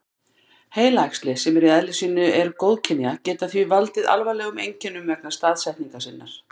Heilaæxli, sem í eðli sínu eru góðkynja, geta því valdið alvarlegum einkennum vegna staðsetningar sinnar.